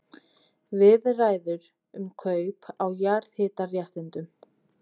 Viðræður um kaup á jarðhitaréttindum